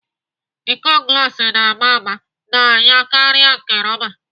Íkó glas na-ama mma n'anya karịa nke rọba.